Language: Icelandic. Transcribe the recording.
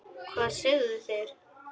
Hvað sögðu þeir?